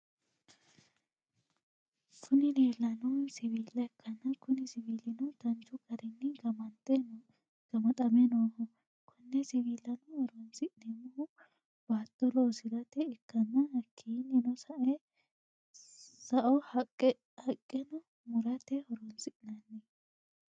kuni lelanohu siwilla ikana kuni siwilino danichu garrini gamaxame noho. kone siwillano horonisinemohuno batto loosirate ikana hakinino sa’o haqqeno murrate horronisinanni.